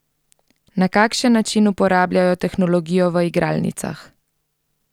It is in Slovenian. Na kakšen način uporabljajo tehnologijo v igralnicah?